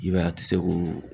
I b'a ye a ti se k'o